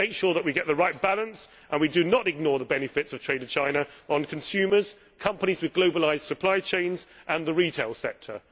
We should make sure that we get the right balance and do not ignore the benefits of trade with China for consumers, companies with globalised supply chains and the retail sector.